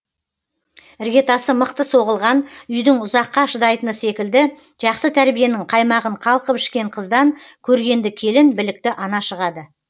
іргетасы мықты соғылған үйдің ұзаққа шыдайтыны секілді жақсы тәрбиенің қаймағын қалқып ішкен қыздан көргенді келін білікті ана шығады